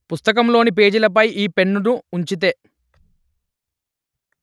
పుస్తకంలోని పేజీలపై ఈ పెన్నును ఉంచితే